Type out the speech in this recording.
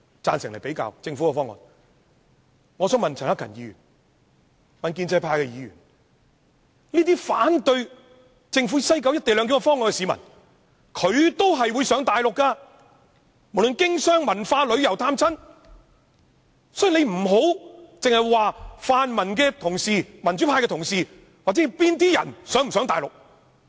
我想告訴陳克勤議員、建制派議員，這些反對政府西九"一地兩檢"方案的市民，他們都會往返內地，不論是經商、文化、旅遊、探親，所以你們不要只針對泛民同事或民主派同事或某些人是否會往內地。